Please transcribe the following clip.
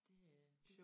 Det øh